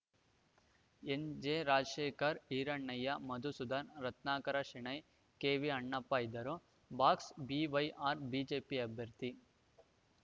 N J Rajashekhar Hirannaiah Madhusudan Ratnakara Shenoy K V Annappa ಇದ್ದರು box BYR BJP ಅಭ್ಯರ್ಥಿ